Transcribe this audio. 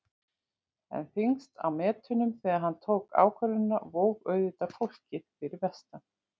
En þyngst á metunum þegar hann tók ákvörðunina vó auðvitað fólkið fyrir vestan.